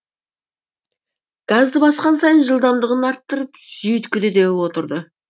газды басқан сайын жылдамдығын арттырып жүйіткіді де отырды